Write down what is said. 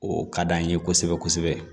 O ka d'an ye kosɛbɛ kosɛbɛ